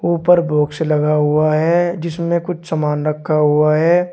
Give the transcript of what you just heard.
ऊपर बॉक्स लगा हुआ है जिसमें कुछ सामान रखा हुआ है।